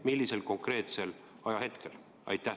Millisel konkreetsel ajahetkel?